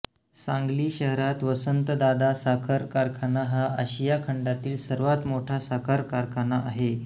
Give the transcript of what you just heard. सांगली शहरात वसंतदादा साखर कारखाना हा आशिया खंडातील सर्वात मोठा साखर कारखाना आहे